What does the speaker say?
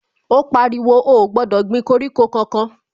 Ó pariwo, ó ò gbọ́dọ̀ gbin koríko kankan